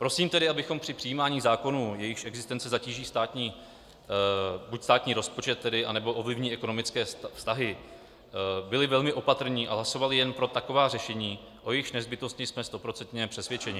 Prosím tedy, abychom při přijímání zákonů, jejichž existence zatíží buď státní rozpočet, anebo ovlivní ekonomické vztahy, byli velmi opatrní a hlasovali jen pro taková řešení, o jejichž nezbytnosti jsme stoprocentně přesvědčení.